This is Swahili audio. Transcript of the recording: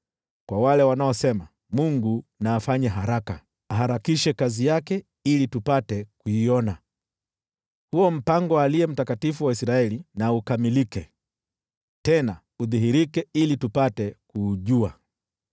kwa wale wanaosema, “Mungu na afanye haraka, aharakishe kazi yake ili tupate kuiona. Huo mpango wa Aliye Mtakatifu wa Israeli na ukamilike, tena udhihirike ili tupate kuujua.”